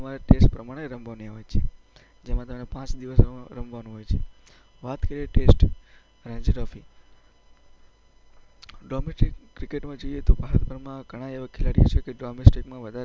જે તમારે ટેસ્ટ પ્રમાણે રમવાની હોય છે, જેમાં પાંચ દિવસ રમવાનું હોય છે. વાત કરીએ ટેસ્ટ રણજી ટ્રોફી. ડોમેસ્ટિક ક્રિકેટમાં જઈએ તો ભારતભરમાં ઘણા એવા ખેલાડીઓ છે